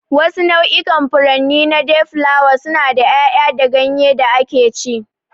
Wasu nau'ikan furanni na dayflower suna da yaya da ganye da akeci.